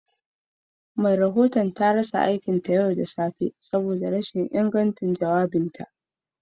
Jaridar ta rasa aikinta ne da safiyar yau saboda ba daidai ba